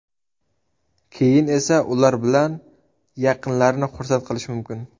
Keyin esa ular bilan yaqinlarni xursand qilish mumkin!